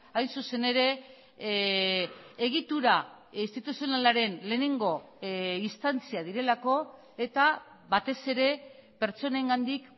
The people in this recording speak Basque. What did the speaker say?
hain zuzen ere egitura instituzionalaren lehenengo instantzia direlako eta batez ere pertsonengandik